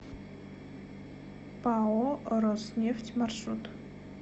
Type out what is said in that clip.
пао роснефть маршрут